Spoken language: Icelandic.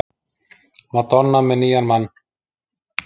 Madonna með nýjan mann